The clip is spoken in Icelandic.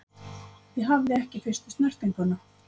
Ég hafði ekki fyrstu snertinguna.